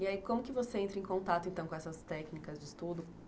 E aí, como que você entra em contato com essas técnicas de estudo?